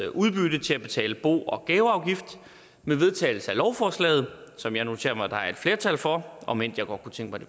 udbytte til at betale bo og gaveafgift med vedtagelse af lovforslaget som jeg noterer mig der er et flertal for om end jeg godt kunne tænke